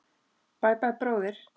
Bæ, bæ, bróðir.